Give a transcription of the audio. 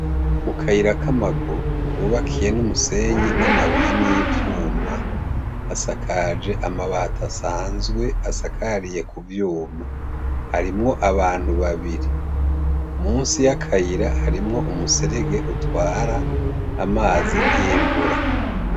Mukayira kamaguru kubakiye numusenyi namabuye nivyuma hasakaje amabati asanzwe asakariye kuvyuma harimwo abantu babiri musi yakayira harimwo umuserege utwara amazi yimvura